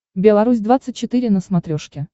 белорусь двадцать четыре на смотрешке